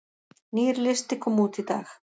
Nýr listi kom út í dag